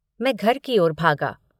मैं घर की ओर भागा।